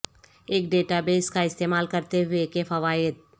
ایک database کا استعمال کرتے ہوئے کے فوائد